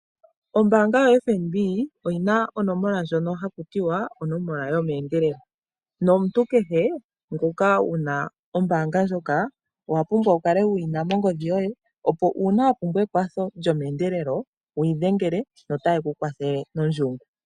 Ombaanga yoFNB oyina onomola ndjono hakutiwa onomola yomeendelelo, nomuntu kehe ngoka wuna ombaanga ndjoka owapumbwa wukale wuyina mongodhi yoye, opo uuna wapumbwa ekwatho lyomeendelelo wu yi dhengele na otaye kukwathele nondjungu.